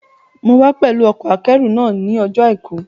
Mo wá pẹ̀lú ọkọ̀-akẹ́rù náà ní ọjọ́ àìkú